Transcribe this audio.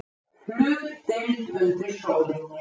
HLUTDEILD UNDIR SÓLINNI